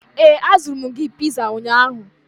ee, azụrụ m gị piza ụnyahụ